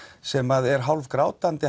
sem er